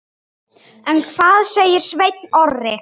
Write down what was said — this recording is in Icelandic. En hvað segir Sveinn Orri?